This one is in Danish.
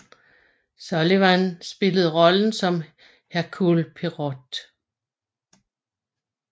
Sullivan spillede rollen som Hercule Poirot